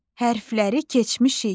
Hərfləri keçmişik.